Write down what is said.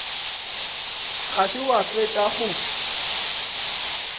ga se wa fetša go